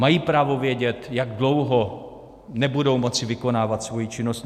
Mají právo vědět, jak dlouho nebudou moci vykonávat svoji činnost.